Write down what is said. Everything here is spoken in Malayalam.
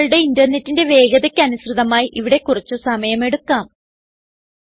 നിങ്ങളുടെ ഇന്റർനെറ്റിന്റെ വേഗതയ്ക്ക് അനുസൃതമായി ഇവിടെ കുറച്ച് സമയം എടുക്കാം